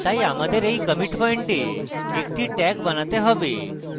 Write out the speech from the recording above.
তাই আমাদের এই commit পয়েন্টে একটি tag বানাতে have